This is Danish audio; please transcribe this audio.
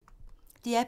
DR P2